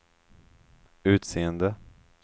utseende